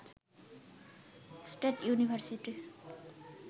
state university